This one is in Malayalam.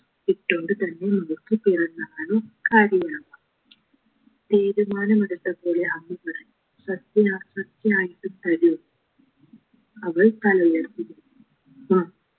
ഇട്ടോണ്ട് തന്നെ നമുക്ക് പിറന്നാളുകാരിയാകാം തീരുമാനം എടുത്ത പോലെ അമ്മ പറഞ്ഞു സത്യാ സത്യായിട്ടും തരോ അവൾ തലയുയർത്തി ആ